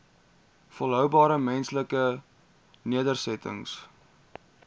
volhoubare menslike nedersettings